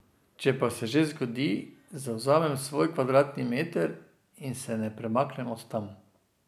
Če pa se že zgodi, zavzamem svoj kvadratni meter in se ne premaknem od tam.